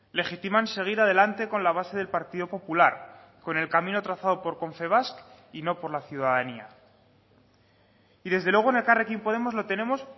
legitiman seguir adelante con la base del partido popular con el camino trazado por confebask y no por la ciudadanía y desde luego en elkarrekin podemos lo tenemos